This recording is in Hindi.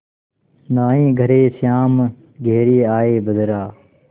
नाहीं घरे श्याम घेरि आये बदरा